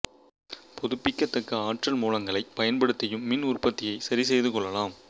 புதுப்பிக்கத் தக்க ஆற்றல் மூலங்களைப் பயன்படுத்தியும் மின் உற்பத்தியை சரிசெய்து கொள்ளலாம்